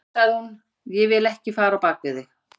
Já, sagði hún, ég vil ekki fara á bak við þig.